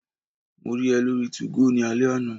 Mo rí ẹ lórí 2go ní alẹ́ àná